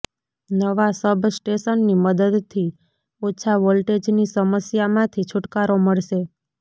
નવા સબ સ્ટેશનની મદદથી ઓછા વોલટેજની સમસ્યામાંથી છૂટકારો મળશે